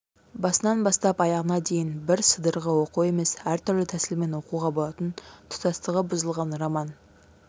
басынан бастап аяғына дейін бір сыдырғы оқу емес түрлі тәсілмен оқуға болатын тұтастығы бұзылған роман